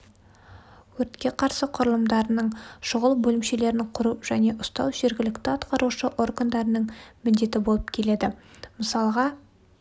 өртке қарсы құрылымдарының шұғыл бөлімшелерін құру және ұстау жеріглікті атқарушы органдарының міндеті болып келеді мысалға